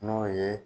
N'o ye